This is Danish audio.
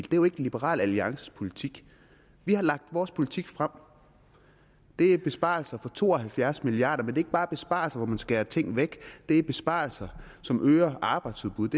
jo ikke liberal alliances politik vi har lagt vores politik frem og det er besparelser for to og halvfjerds milliard ikke bare besparelser hvor man skærer ting væk det er besparelser som øger arbejdsudbudet